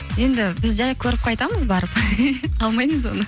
енді біз жай көріп қайтамыз барып алмаймыз оны